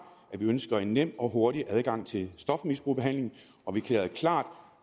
at vi ønsker en nem og hurtig adgang til stofmisbrugsbehandling og vi erklærede klart